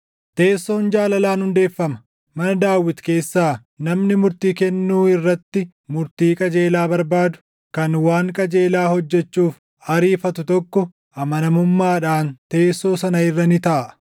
Teessoon jaalalaan hundeeffama; mana Daawit keessaa namni murtii kennuu irratti murtii qajeelaa barbaadu, kan waan qajeelaa hojjechuuf ariifatu tokko amanamummaadhaan teessoo sana irra ni taaʼa.